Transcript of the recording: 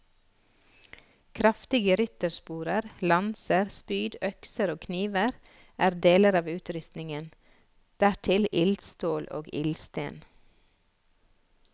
Kraftige ryttersporer, lanser, spyd, økser og kniver er deler av utrustningen, dertil ildstål og ildsten.